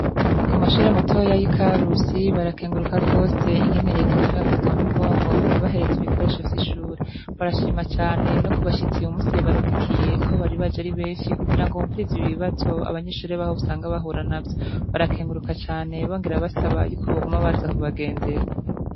Ku mashure matoya y'i Karusi barakenguruka gose ingene reta iguma ibafata mu mugongo mu kubahereza ibikoresho vy'ishure. Barashima cane no ku bashitsi uyu musi yabarungikiye, aho bari baje ari benshi kugira ngo bumvirize ibibazo abanyeshure baho usanga bahura navyo. Barakenguruka cane bongera basaba y'uko boguma baza kubagendera.